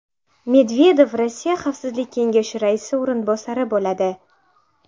Medvedev Rossiya Xavfsizlik kengashi raisi o‘rinbosari bo‘ladi.